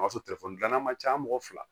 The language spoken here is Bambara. O y'a sɔrɔ dilan man ca mɔgɔ fila